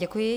Děkuji.